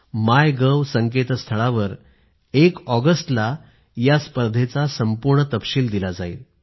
माय gov संकेतस्थळावर एक ऑगस्टलास्पर्धेचा तपशील दिला जाईल